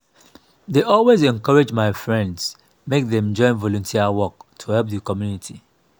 dey always encourage my friends make dem join volunteer work to help di community.